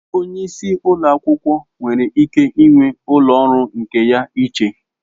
Onye isi ụlọ akwụkwọ nwere ike ịnwe ụlọ ọrụ nke ya iche.